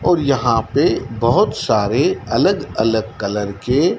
और यहाँ पे बहुत सारे अलग-अलग कलर के --